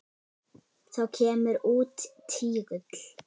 Þá kemur út tígull.